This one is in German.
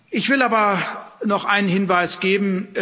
Ich will aber noch einen Hinweis geben.